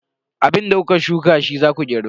Abinda ka shuka shi za ka girba.